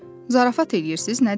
Zarafat eləyirsiz, nədir?